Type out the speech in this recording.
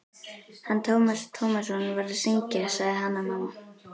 Hann Tómas Tómasson var að syngja, sagði Hanna-Mamma.